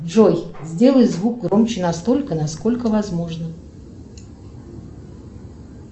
джой сделай звук громче настолько насколько возможно